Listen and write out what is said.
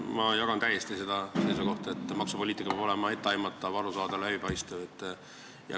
Ma jagan täiesti seda seisukohta, et maksupoliitika peab olema etteaimatav, arusaadav ja läbipaistev.